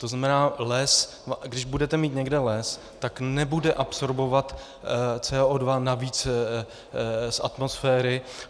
To znamená, když budete mít někde les, tak nebude absorbovat CO2, navíc z atmosféry.